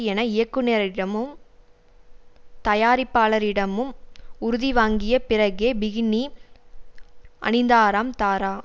என இயக்குனரிடமும் தயாரிப்பாளரிடமும் உறுதி வாங்கிய பிறகே பிகினி அணிந்தாராம் தாரா